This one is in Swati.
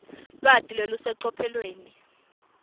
lwati lolusecophelweni